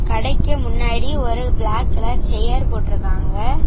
கடைக்கு முன்னாடி ஒரு பிளாக் கலர் ஷேர் போட்டுருக்காங்க.